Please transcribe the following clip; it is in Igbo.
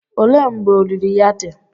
Olee mgbe olili ya dị?